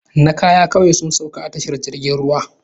Na kaya kawai sun sauka a tashar jirgin ruwa